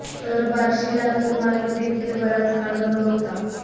तर बार्शी लातूर मार्ग देखील बराच काळ बंद होता